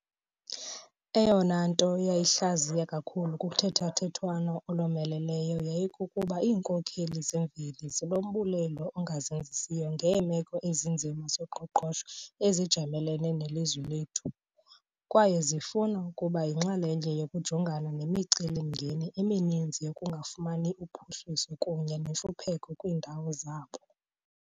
Eyona nto yayihlaziya kakhulu kuthethathethwano olomeleleyo yayikukuba iinkokheli zemveli zinombulelo ongazenzisiyo ngeemeko ezinzima zoqoqosho ezijamelene nelizwe lethu, kwaye zifuna ukuba yinxalenye yokujongana nemicelimngeni emininzi yokungafumani uphuhliso kunye nentlupheko kwiindawo zabo.